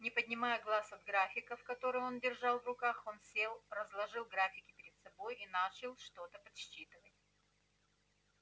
не поднимая глаз от графиков которые он держал в руках он сел разложил графики перед собой и начал что-то подсчитывать